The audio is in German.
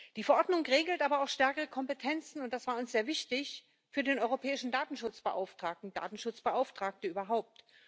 Die Verordnung regelt aber auch stärkere Kompetenzen und das war uns sehr wichtig für den Europäischen Datenschutzbeauftragten und Datenschutzbeauftragte überhaupt.